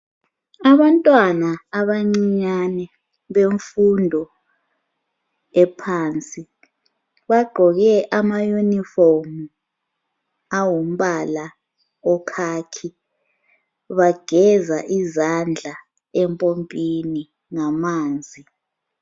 Abantwana abancinyane bemfundo ephansi bagqoke ama unifomu angumbala wekhakhi. Bageza izandla empopini ngamanzi.